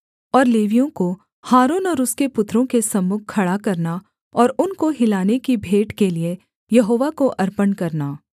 और लेवियों को हारून और उसके पुत्रों के सम्मुख खड़ा करना और उनको हिलाने की भेंट के लिये यहोवा को अर्पण करना